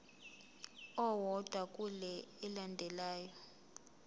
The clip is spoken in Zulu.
owodwa kule elandelayo